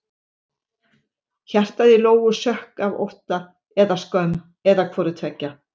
Hjartað í Lóu sökk af ótta eða skömm eða hvoru tveggja.